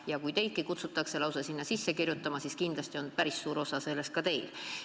Ja kui teid kutsutakse üles end lausa sinna sisse kirjutama, siis kindlasti on päris suur roll olnud ka teil.